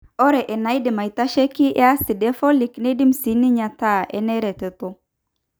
ore enaidim aitasheki eacid eFolic neidim siininye ataa eneretoto.